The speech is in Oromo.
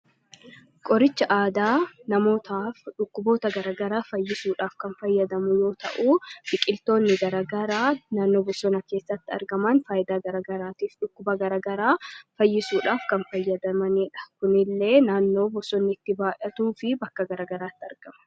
Qoricha aadaa namootaaf dhukkuboota garaa garaa fayyisuuf kan fayyadamnu yoo ta'u, biqiltoonni gara garaa naannoo bosonaa keessatti argaman faayidaa gara garaatiif, dhukkuba gara garaa fayyisuudhaaf kan fayyadamanidha. Kunneen illee naannoo bosonni itti baay'atuu fi bakka gara garaatti argama.